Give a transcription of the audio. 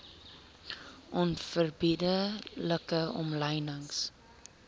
onverbidde like omlynings